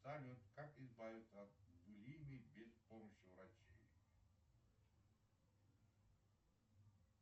салют как избавиться от булимии без помощи врачей